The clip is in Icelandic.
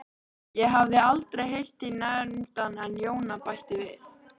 Ég hafði aldrei heyrt þig nefndan en Jóna bætti við